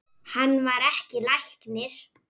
Hann var ekki læknir.